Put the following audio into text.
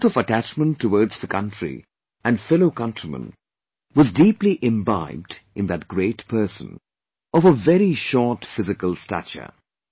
This spirit of attachment towards the country and fellow countrymen was deeply imbibed in that great person of a very short physical stature